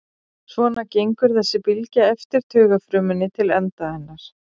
Svona gengur þessi bylgja eftir taugafrumunni til enda hennar.